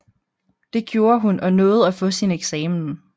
Det gjorde hun og nåede at få sin eksamen